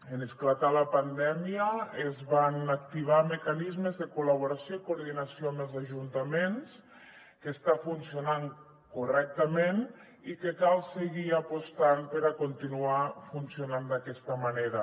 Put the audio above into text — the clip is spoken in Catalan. en esclatar la pandèmia es van activar mecanismes de col·laboració i coordinació amb els ajuntaments que estan funcionant correctament i cal seguir apostant per a continuar funcionant d’aquesta manera